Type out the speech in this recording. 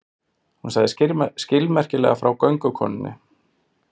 Hún sagði skilmerkilega frá göngukonunni.